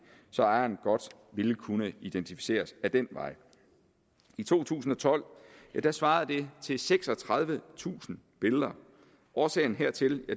så ejeren godt ville kunne identificeres ad den vej i to tusind og tolv svarede det til seksogtredivetusind billeder årsagen hertil